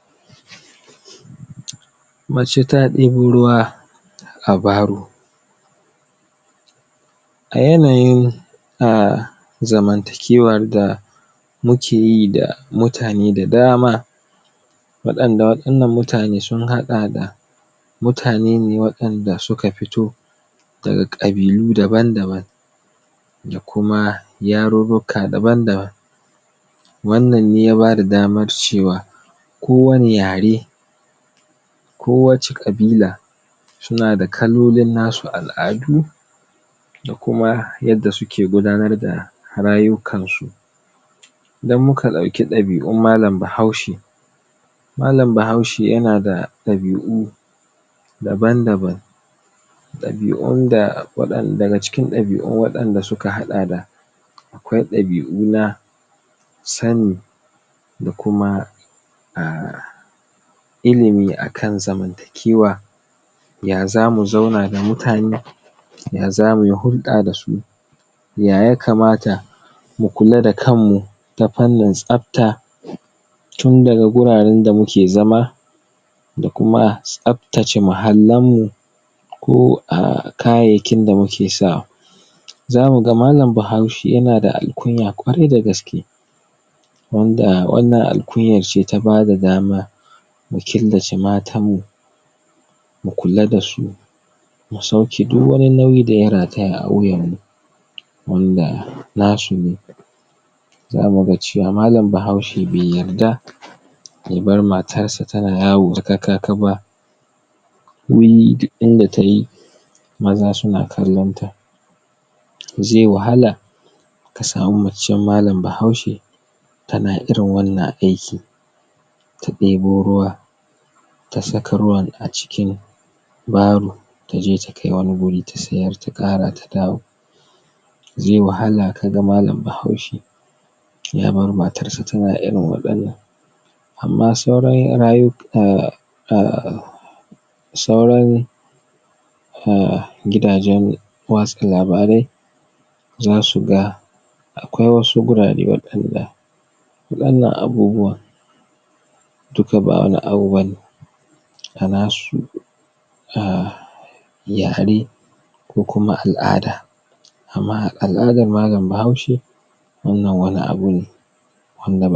Wato kaman yanda muke gani wannan abun nan ne da yake da yake za mu iya cewa tumatir ne a cikin mota haɗe da dankali da kuma dai sauran kayan gona dai kaman haka dai a cikin sa. Wannan daga na zamu iya cewa duka amfanin yayi kyau kuma irin wannan ba wai an sa moto za'a tafi da su wuraren da za'a yi kasuwanci da su don har daga nan sa irin wannan a za'a kai su ne can inda za'a yi kasuwanci a a sissiyar da su, a kakkasa a sassaya kuma irin wannan. Su na yin tsada ba kaɗan ba saboda ganin yayi kyau ya yayi yanda ya kamata ana kuma ana kuma sa ran wannan zai ƙara irin lafiya a jikin ɗan-adam dai hakan nan. Da gani zamu iya cewa wannan amfanin gonan yayi kyau, yayi shar-shar yayi ko, yayi gwanin ban sha'awa. Ba kuma su abun nan ɗin lala ba ba an sa musus abubuwa ingantattu waƴanda taimaka musu suka suka yi suka yi kyau, ga su nan an saka su a mota za'a kaisu inda za'a inda za'a dinga irin su siyarwa dai hakan nan da dai sauran su. Wannan duk wanda ya siye shi zai ji daɗin amfani da shi. saboda da ganin shi a mota gwanin ban sha'awa akwai akwai a can ƙarshen abun nan ɗin motan shima ga ya nan yayi ya kuma dai an san cewa kayana itatuwa dai su na gina jiki ana kuma ma za mu a wannan itatuwa yanda ya kamata to kaman haka ne shi ma wannan ga ya nan yayi yayai kyau, an kuma sa shi, an tafi da shi wurin inda ya kamata. A'a ha a siyar da dan ganin an amshi kuɗin su, an kuma juya su an dawo an ƙara yin wani noma an ƙara fitar da wani abun nan ɗin irin wannan